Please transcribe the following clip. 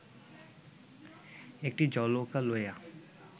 একটি জলৌকা লইয়া